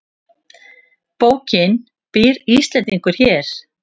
Bókin Býr Íslendingur hér?